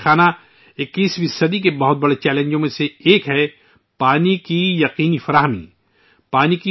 میرے پریوار جنو ، 21ویں صدی کے سب سے بڑے چیلنجوں میں سے ایک ' آبی سکیورٹی ' ہے